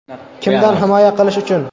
Kimdan himoya qilish uchun?